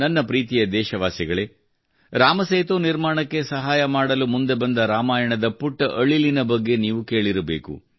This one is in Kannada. ನನ್ನ ಪ್ರೀತಿಯ ದೇಶವಾಸಿಗಳೇ ರಾಮಸೇತು ನಿರ್ಮಾಣಕ್ಕೆ ಸಹಾಯ ಮಾಡಲು ಮುಂದೆ ಬಂದ ರಾಮಾಯಣದ ಪುಟ್ಟ ಅಳಿಲಿನ ಬಗ್ಗೆ ನೀವು ಕೇಳಿರಬೇಕು